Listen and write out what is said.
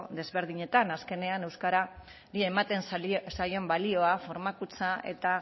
desberdinetan azkenean euskarari ematen zaion balioa formakuntza eta